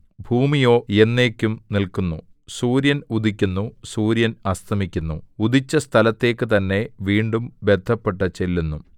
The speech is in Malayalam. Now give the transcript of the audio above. ഭൂമിയോ എന്നേക്കും നില്ക്കുന്നു സൂര്യൻ ഉദിക്കുന്നു സൂര്യൻ അസ്തമിക്കുന്നു ഉദിച്ച സ്ഥലത്തേക്ക് തന്നെ വീണ്ടും ബദ്ധപ്പെട്ടു ചെല്ലുന്നു